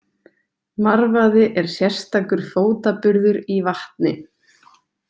Marvaði er sérstakur fótaburður í vatni.